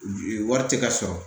Wari tɛ ka sɔrɔ